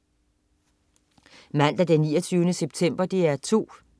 Mandag den 29. september - DR 2: